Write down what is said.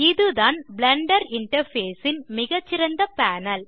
இதுதான் Blender interface ன் மிகச்சிறந்த பேனல்